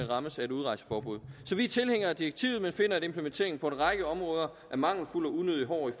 rammes af et udrejseforbud så vi er tilhængere af direktivet men finder at implementeringen på en række områder er mangelfuld og unødig hård i